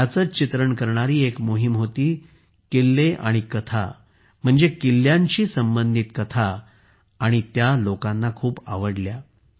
याचेच चित्रण करणारी एक मोहीम होती किल्ले आणि कथा म्हणजे किल्ल्यांशी संबंधित कथा ती लोकांना खूप आवडली